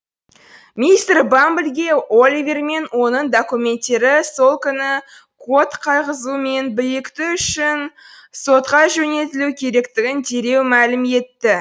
мистер бамблге оливер мен оның документтері сол күні код қойғызу мен бекіту үшін сотқа жөнелтілуі керектігін дереу мәлім етті